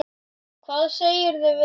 Hvað segirðu við því?